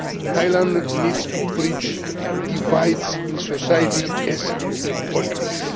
Thailand needs to bridge divides in society as in politics.